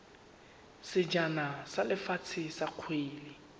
sejana sa lefatshe sa kgwele